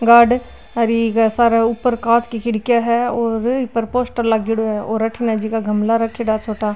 गार्ड और इके सारे ऊपर कांच की खिड़किया है और इपर पोस्टर लागिडो है और अठीने जेका गमला राखिडा है छोटा।